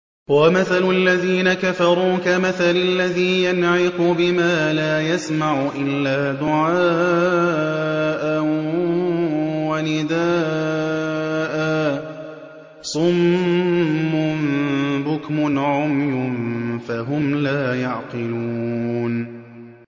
وَمَثَلُ الَّذِينَ كَفَرُوا كَمَثَلِ الَّذِي يَنْعِقُ بِمَا لَا يَسْمَعُ إِلَّا دُعَاءً وَنِدَاءً ۚ صُمٌّ بُكْمٌ عُمْيٌ فَهُمْ لَا يَعْقِلُونَ